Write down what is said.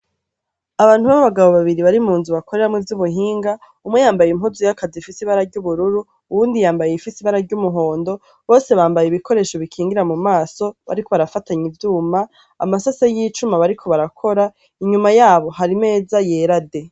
Abantu b' abagabo babire bari mu nzu bakoreramwo ivy' ubuhinga umwe yambaye impuzu y' akazi ifise ibara ry' ubururu uyundi yambaye iyifise ibara ry' umuhondo bose bambaye ibikoresho bikingira mumaso bariko barafatanya ivyuma amasase y' icuma bariko barakora inyuma yabo hari imeza yera de.